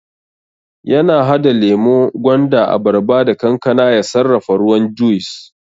yana hada lemo, gwanda, abarba da kankana ya sarrafa ruwan juis